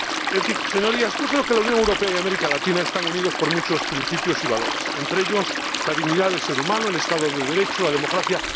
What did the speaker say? En fin, Señorías, yo creo que la Unión Europea y América Latina están unidas por muchos principios y valores, entre ellos, la dignidad del ser humano, el Estado de Derecho y la democracia.